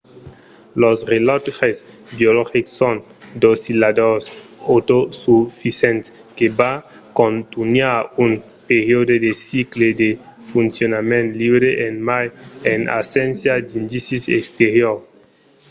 los relòtges biologics son d'oscilladors autosufisents que van contunhar un periòde de cicle de foncionament liure e mai en abséncia d'indicis exteriors